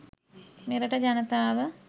මෙරට ජනතාව